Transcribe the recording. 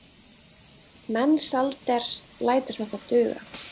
Mensalder lætur þetta duga.